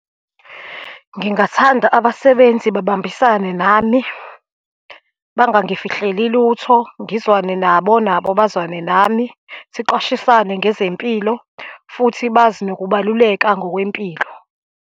Ngingathanda abasebenzi babambisane nami, bangangifihleli lutho, ngizwane nabo, nabo bazwane nami, siqwashisane ngezempilo, futhi bazi nokubaluleka ngokwempilo.